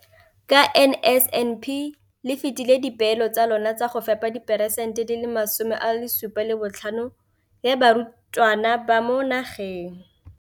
Ka NSNP le fetile dipeelo tsa lona tsa go fepa masome a supa le botlhano a diperesente ya barutwana ba mo nageng.